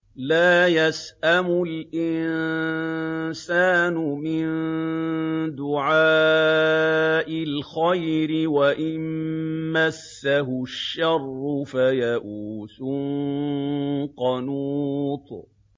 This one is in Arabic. لَّا يَسْأَمُ الْإِنسَانُ مِن دُعَاءِ الْخَيْرِ وَإِن مَّسَّهُ الشَّرُّ فَيَئُوسٌ قَنُوطٌ